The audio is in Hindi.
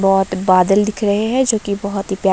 बहोत बादल दिख रहे हैं जो की बहोत ही प्या--